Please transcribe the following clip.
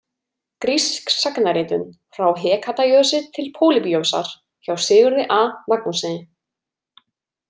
„Grísk sagnaritun frá Hekatajosi til Pólýbíosar“ hjá Sigurði A Magnússyni.